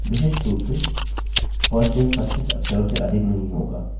विशिष्ट रूप से firstname 25 अक्षरोंकैरेक्टर्ससे अधिक नहीं होगा